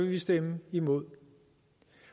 vi stemme imod